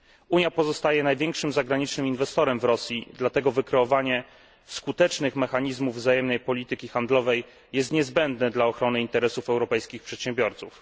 Unia pozostaje największym zagranicznym inwestorem w Rosji, dlatego wykreowanie skutecznych mechanizmów wzajemnej polityki handlowej jest niezbędne dla ochrony interesów europejskich przedsiębiorców.